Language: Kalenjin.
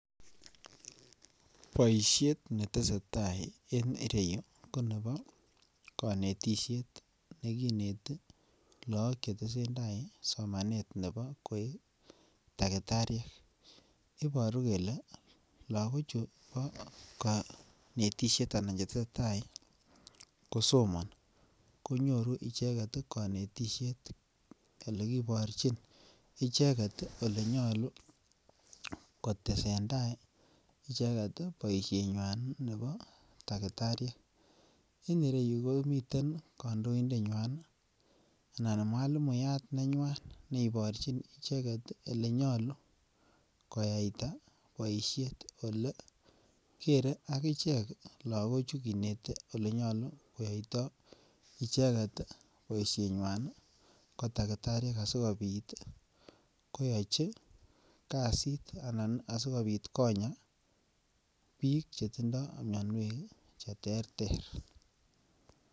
Boishet neteseta en ireyu ko nebo konetishet nekineten look chetesentai somanet nebo koik takitariek, iboru kele lokochu boo konetishet anan chetesetai kosomoni konyoru icheket konetishet elekiborchin icheket elenyolu kotesentai icheket boishenywan nebo takitariek, en ireyu komiten kondoindenywan anan mwalimu nenywan neiborchin icheket elenyolu koyaita boishet olekere akichek lokochu kinete olenyolu keyoito icheket boishoninywan ko takitariek asikobit koyochi kasit anan asikobit konya biik chetindo mionwek cheterter.